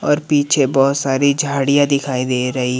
और पीछे बहुत सारी झाड़ियाँ दिखाई दे रही--